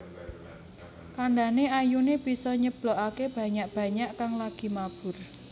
Kandhane ayune bisa nyeblokake banyak banyak kang lagi mabur